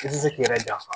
I ti se k'i yɛrɛ janfa